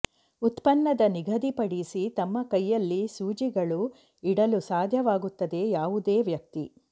ಉತ್ಪನ್ನದ ನಿಗದಿಪಡಿಸಿ ತಮ್ಮ ಕೈಯಲ್ಲಿ ಸೂಜಿಗಳು ಇಡಲು ಸಾಧ್ಯವಾಗುತ್ತದೆ ಯಾವುದೇ ವ್ಯಕ್ತಿ